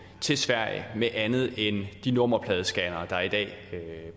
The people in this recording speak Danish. til sverige med andet end de nummerpladescannere der i dag